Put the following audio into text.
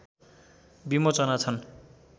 विमोचना छन्